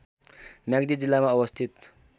म्याग्दी जिल्लामा अवस्थित